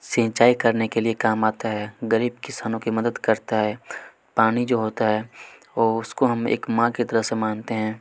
सिंचाई करने के लिए काम आता है गरीब किसानों की मदद करता है पानी जो होता है ओ उसको हम एक माँ की तरह से मानते हैं।